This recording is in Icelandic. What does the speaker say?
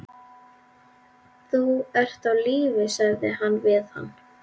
Þú ert á lífi sagði hún við hann.